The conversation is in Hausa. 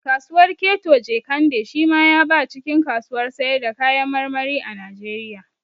Kasuwar keto Jekande shi ma ya ba cikin kasuwar sayar da kayan marmari a Najeriya